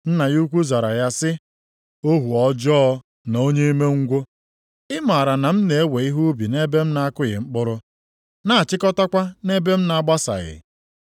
“Nna ya ukwu zara ya sị, ‘Ohu ọjọọ na onye umengwụ. Ị maara na m na-ewe ihe ubi nʼebe m na-akụghị mkpụrụ, na-achịkọtakwa nʼebe m na-agbasaghị.